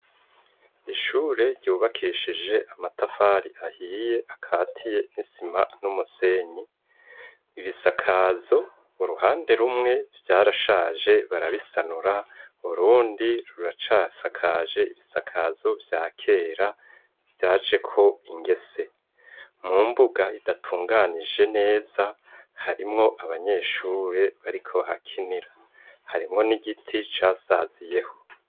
Ishure, ryubakishije amatafari ahiye, akatiye n'isima, n'umusenyi, ibisakazo, uruhande rumwe, vyarashaje barabisanura; urundi, ruracasakaje ibisakazo vya kera, vyajeko ingese; mu mbuga, idatunganije neza, harimwo abanyeshure, bariko bahakinira; harimwo n'igiti, casaziyeho.